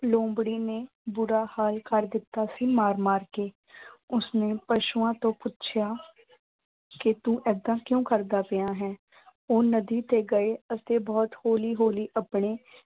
ਲੂੰਬੜੀ ਨੇ ਬੁਰਾ ਹਾਲ ਕਰ ਦਿੱਤਾ ਸੀ ਮਾਰ ਮਾਰ ਕੇ। ਉਸਨੂੰ ਪਸ਼ੂਆਂ ਤੋਂ ਪੁੱਛਿਆ ਕਿ ਤੂੰ ਏਦਾਂ ਕਿਉਂ ਕਰਦਾ ਪਿਆਂ ਹੈਂ। ਉਹ ਨਦੀ ਤੇ ਗਏ ਅਤੇ ਬਹੁਤ ਹੌਲੀ ਹੌਲੀ ਆਪਣੇ